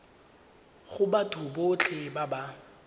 go batho botlhe ba ba